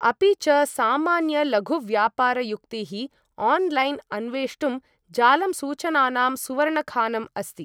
अपि च, सामान्यलघुव्यापारयुक्तीः ऑनलाइन अन्वेष्टुम्, जालम् सूचनानां सुवर्णखानम् अस्ति।